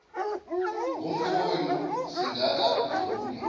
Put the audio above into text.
ngomfowenu singaka ivule